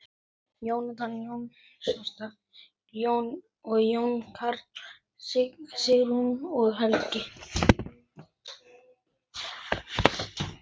Jón Karl, Signý og Helgi.